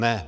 Ne.